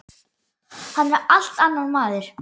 Hann er allt annar maður.